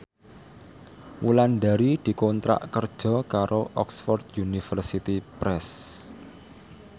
Wulandari dikontrak kerja karo Oxford University Press